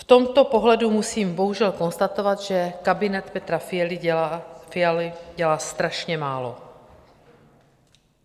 V tomto ohledu musím bohužel konstatovat, že kabinet Petra Fialy dělá strašně málo.